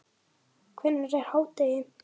Hvenær er hádegi?